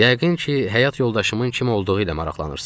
Yəqin ki, həyat yoldaşımın kim olduğu ilə maraqlanırsız.